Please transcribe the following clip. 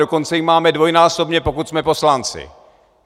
Dokonce ji máme dvojnásobně, pokud jsme poslanci.